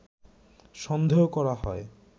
সন্দেহ করা হয়